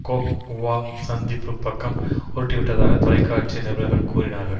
Coke வுவா சந்திப்புப் பக்கம் உருட்டிவிட்டதாக தொலைக்காட்சி நிருபர்கள் கூறினார்கள்